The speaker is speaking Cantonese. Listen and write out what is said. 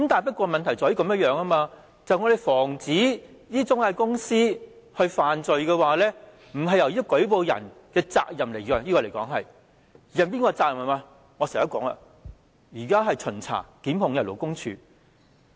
不過，問題在於我們要防止中介公司犯罪，這並非舉報人的責任，而是負責巡查及檢控的勞工處。